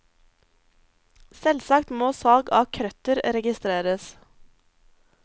Selvsagt må salg av krøtter registreres.